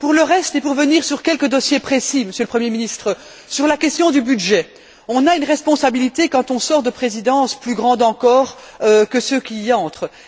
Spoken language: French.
Pour le reste et pour revenir sur quelques dossiers précis, Monsieur le Premier ministre, notamment sur la question du budget, on a une responsabilité quand on sort de Présidence plus grande encore que ceux qui y entrent.